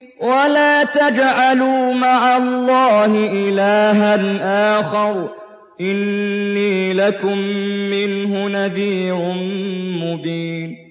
وَلَا تَجْعَلُوا مَعَ اللَّهِ إِلَٰهًا آخَرَ ۖ إِنِّي لَكُم مِّنْهُ نَذِيرٌ مُّبِينٌ